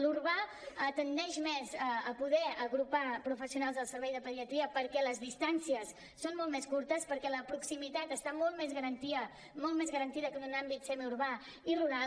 l’urbà tendeix més a poder agrupar professionals del servei de pediatria perquè les distàncies són molt més curtes perquè la proximitat està molt més garantida que en un àmbit semiurbà i rural